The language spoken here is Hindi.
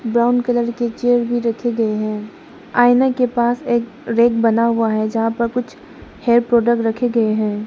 ब्राउन कलर के चेयर भी रखे गए हैं आईना के पास एक रैक बना हुआ है जहां पर कुछ हेयर प्रोडक्ट रखे गए हैं।